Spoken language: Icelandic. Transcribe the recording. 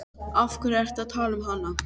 Af hverju ertu að tala um hana?